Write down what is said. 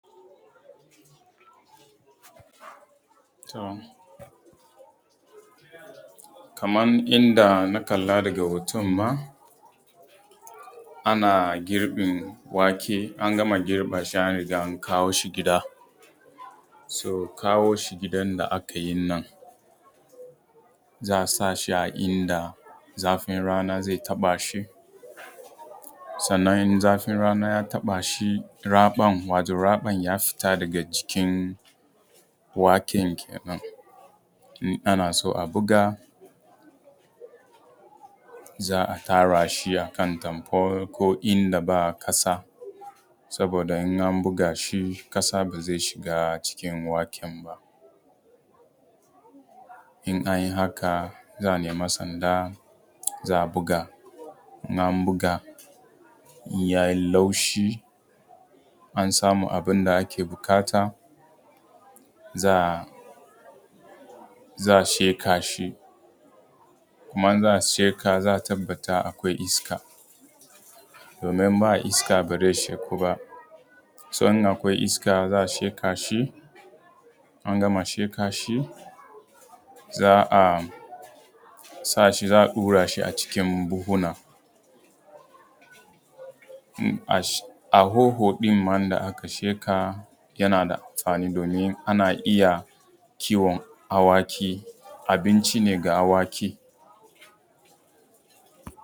To kaman inda na kalla daga hoton ma, ana giribin wake, an gama girba shi an kawo shi gida, so kawo shi gidan da aka yin nan za a sa shi a inda zafin rana zai taɓa shi, sannan in zafin rana ya taɓa shi, raɓan wato raɓan ya fita daga jikin waken kenan, in ana so a buga za a tara shi akan tanfol ko inda ba ƙasa saboda in an buga shi ƙasa ba zai shiga cikin waken ba. In an yi haka za a nemi sanda, za a buga, in an buga yayi laushi an samu abin da ake buƙata, za'a sheka shi, kuma in za a sheka za a tabbata akwai iska domin in ba iska ba zai sheku ba. so in akwai iska za a sheka shi, an gama sheka shi, za a sa shi za a ɗura shi a cikin buhuna, a hoho ɗin ma da aka sheka yana da amfani domin ana iya kiwon awaki, abinci ne ga awaki.